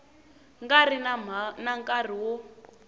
nga ri na nkarhi wo